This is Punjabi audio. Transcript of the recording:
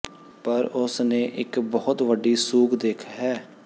ਪਰ ਉਸ ਨੇ ਇੱਕ ਬਹੁਤ ਵੱਡੀ ਸੂਗ ਦਿੱਖ ਹੈ